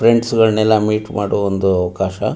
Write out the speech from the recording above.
Friends ಗಳನ್ನೆಲ್ಲ meet ಮಾಡುವ ಒಂದು ಅವಕಾಶ.